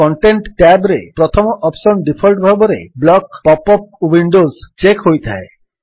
content tab ରେ ପ୍ରଥମ option default ଭାବରେ block pop up windows check ହୋଇଥାଏ